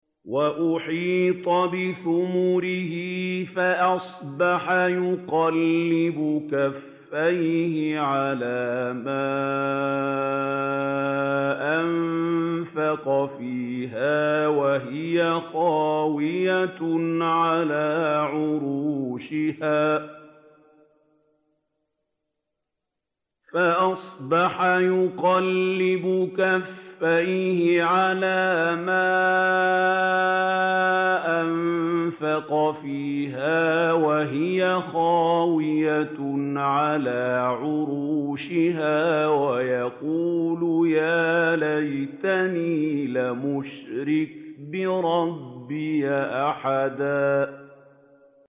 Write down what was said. وَأُحِيطَ بِثَمَرِهِ فَأَصْبَحَ يُقَلِّبُ كَفَّيْهِ عَلَىٰ مَا أَنفَقَ فِيهَا وَهِيَ خَاوِيَةٌ عَلَىٰ عُرُوشِهَا وَيَقُولُ يَا لَيْتَنِي لَمْ أُشْرِكْ بِرَبِّي أَحَدًا